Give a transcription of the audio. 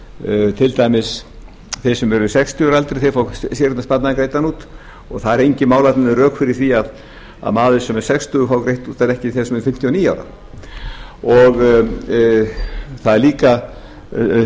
greiðslur til dæmis fá þeir sem eru sextugir að aldri séreignarsparnaðinn greiddan út og það eru engin málefnaleg rök fyrir því að maður sem er sextugur fái greitt út en ekki þeir sem eru fimmtíu og níu ára það er líka